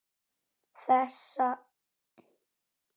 Þeirra missir er mestur.